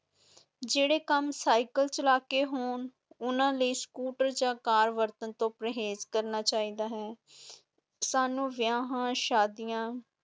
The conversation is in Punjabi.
ਜਿਹੜੇ ਕੰਮ ਸਾਈਕਲ ਚਲਾ ਕੇ ਹੋ ਹੋਣ, ਉਨ੍ਹਾਂ ਲਈ ਸਕੂਟਰ ਜਾਂ ਕਾਰ ਵਰਤਣ ਤੋਂ ਪਰਹੇਜ਼ ਕਰਨਾ ਚਾਹੀਦਾ ਹੈ ਸਾਨੂੰ ਵਿਆਹਾਂ, ਸ਼ਾਦੀਆਂ,